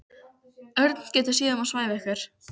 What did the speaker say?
Örn getur séð um að svæfa ykkur.